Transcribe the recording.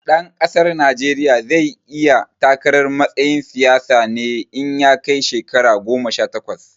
Ɗan ƙasar Najeriya zai iya takarar matsayin siyasa ne in ya kai shekara goma sha takwas